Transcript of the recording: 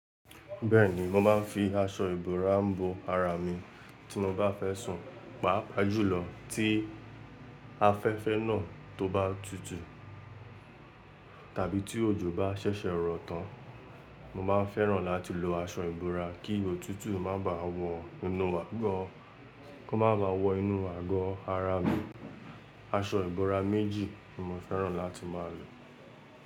Bẹ́ẹ̀ni, mo máa ń fi aṣọ ìbora bo ara mi tí mo bá fẹ́ sùn, pàápàá jùlọ́ tí afẹ́fẹ́ náà tó bá tutù tàbí tí òjò bá ṣẹ̀ṣẹ̀ rọ̀ tán. Mo máa ń fẹ́ràn láti lo aṣọ ìbora kí òtútù má bà wọ inú àgọ́, kó má baà wọ inú àgọ́ ara mi. Aṣọ ìbora méjì ni mo fẹ́ràn láti máa lò.